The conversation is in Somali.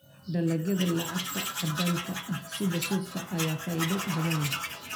Dalagyada lacagta caddaanka ah sida suufka ayaa faa'iido badan leh.